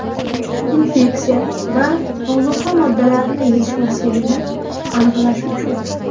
Infeksiya va ozuqa moddalarini yetishmasligini aniqlash uchun.